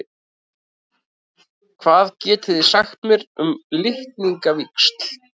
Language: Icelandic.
Hvað getið þið sagt mér um litningavíxl?